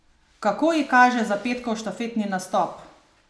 Kako ji kaže za petkov štafetni nastop?